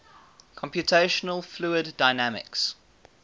computational fluid dynamics